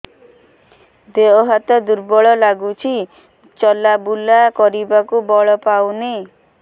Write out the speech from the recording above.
ଦେହ ହାତ ଦୁର୍ବଳ ଲାଗୁଛି ଚଲାବୁଲା କରିବାକୁ ବଳ ପାଉନି